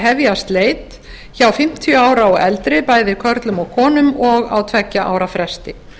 hefjast leit hjá fimmtíu ára og eldri bæði körlum og konum og á tveggja ára fresti